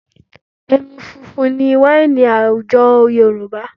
Ẹmu funfun ni wáìnì àwùjọ Yorùbá